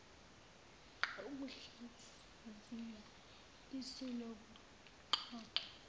ukuhlaziya isu lokuxoxwa